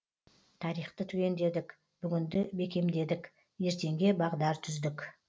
тарихты түгендедік бүгінді бекемдедік ертеңге бағдар түздік